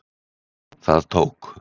Það tók